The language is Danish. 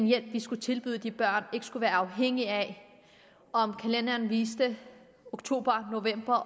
hjælp vi skulle tilbyde de udsatte børn ikke skulle være afhængig af om kalenderen viste oktober november